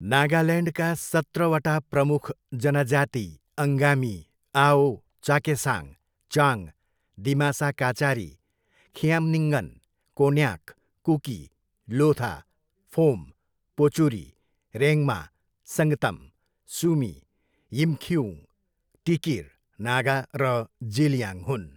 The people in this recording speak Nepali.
नागाल्यान्डका सत्रवटा प्रमुख जनजाति अङ्गामी, आओ, चाखेसाङ, चाङ, दिमासा काचारी, खिआम्निङ्गन, कोन्याक, कुकी, लोथा, फोम, पोचुरी, रेङ्मा, सङ्गतम, सुमी, यिमखिउङ, टिकिर नागा र जेलियाङ हुन्।